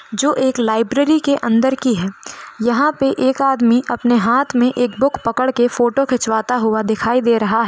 जो एक लाइब्रेरी के अंदर की है यहां पे एक आदमी अपने हाथ में एक बुक पकड़ के फोटो खींचवाता हुआ दिखाई दे रहा है।